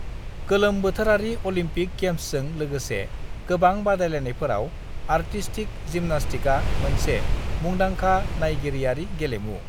गोलोम बोथोरारि अलिम्पिक गेम्सजों लोगोसे गोबां बादायलायनायफोराव आर्टिस्तिक जिम्नास्टिकआ मोनसे मुंदांखा नाइगिरियारि गेलेमु।